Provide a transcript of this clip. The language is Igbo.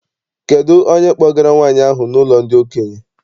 Kedụ onye kpọgara nwaanyị ahụ n'ụlọ ndị okenye?